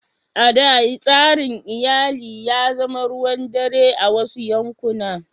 A da, tsarin iyali ya zama ruwan dare a wasu yankuna.